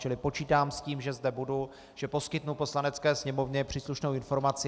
Čili počítám s tím, že zde budu, že poskytnu Poslanecké sněmovně příslušnou informaci.